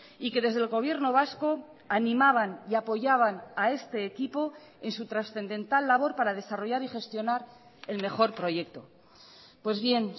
y que desde el gobierno vasco animaban y apoyaban a este equipo en su trascendental labor para desarrollar y gestionar el mejor proyecto pues bien